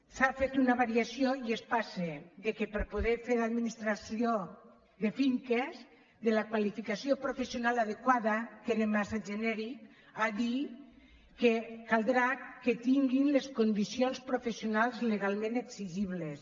s’ha fet una variació i es passa per poder fer d’administrador de finques de la qualificació professional adequada que era massa genèric a dir que caldrà que tinguin les condicions professionals legalment exigibles